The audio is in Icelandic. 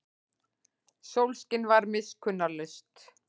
Sólskin var miskunnarlaust.